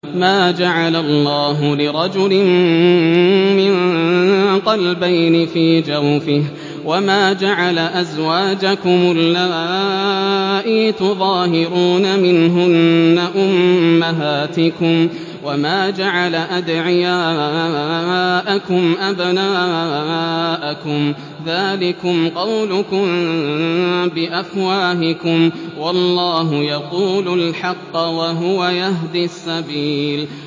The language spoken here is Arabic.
مَّا جَعَلَ اللَّهُ لِرَجُلٍ مِّن قَلْبَيْنِ فِي جَوْفِهِ ۚ وَمَا جَعَلَ أَزْوَاجَكُمُ اللَّائِي تُظَاهِرُونَ مِنْهُنَّ أُمَّهَاتِكُمْ ۚ وَمَا جَعَلَ أَدْعِيَاءَكُمْ أَبْنَاءَكُمْ ۚ ذَٰلِكُمْ قَوْلُكُم بِأَفْوَاهِكُمْ ۖ وَاللَّهُ يَقُولُ الْحَقَّ وَهُوَ يَهْدِي السَّبِيلَ